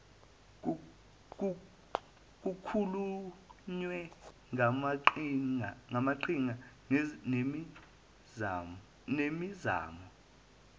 kukhulunywe ngamaqhinga nemizamo